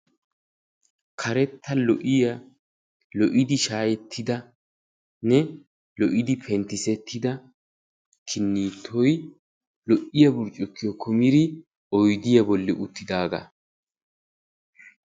Karetta lo"iyaa lo'idi shaayettidanne lo'idi penttisettida kinnittoy lo'iyaa burccukiyoo kumidi oydiyaa bolli uttidagaa.